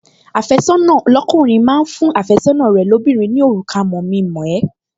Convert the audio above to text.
Àfẹ́sọ́nà lọ́kùnrin máa ń fún àfẹ́sọ́nà rẹ̀ lóbìnrin ní òrùka mọ̀-mi-mọ̀-ẹ́